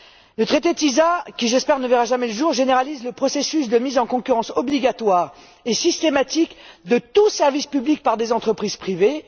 L'accord sur le commerce des services qui, j'espère, ne verra jamais le jour généralise le processus de mise en concurrence obligatoire et systématique de tout service public entre des entreprises privées.